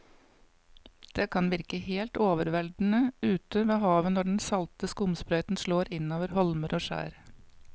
Det kan virke helt overveldende ute ved havet når den salte skumsprøyten slår innover holmer og skjær.